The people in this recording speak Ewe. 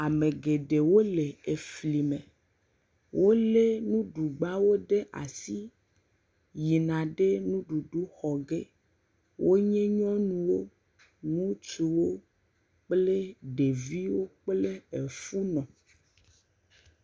Ame geɖewo le efli me. Wo le nuɖugbawo ɖe asi yina ɖe nuɖuɖu xɔ ge. Wo nye nyɔnuwo, ŋutsuwo kple ɖeviwo kple efunɔ.